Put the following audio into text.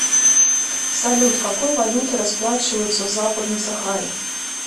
салют какой валютой расплачиваются в западной сахаре